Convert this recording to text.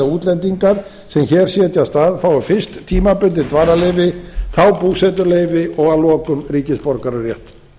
útlendingar sem hér setjast að fái fyrst tímabundin dvalarleyfi þá búsetuleyfi og að lokum ríkisborgararétt